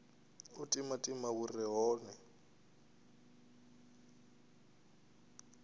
u timatima hu re hone